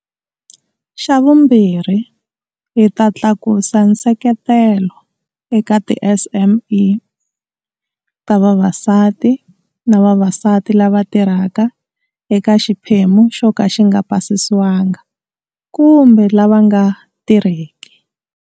Xa vumbirhi, hi ta tlakusa nseketelo eka tiSME ta vavasati na vavasati lava tirhaka eka xiphemu xo ka xi nga pasisiwanga kumbe lava nga tirheki.